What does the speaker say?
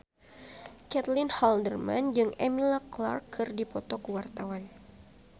Caitlin Halderman jeung Emilia Clarke keur dipoto ku wartawan